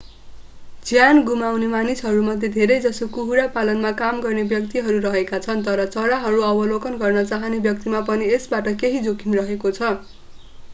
ज्यान गुमाउने मान्छेहरूमध्ये धेरैजसो कुखुरा पालनमा काम गर्ने व्यक्तिहरू रहेका छन् तर चराहरू अवलोकन गर्न चाहने व्यक्तिमा पनि यसबाट केही जोखिम रहेको छ